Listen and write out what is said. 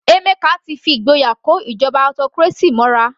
Emeka ti fi ìgboyà kó ìjọba autocracy mọ́ra.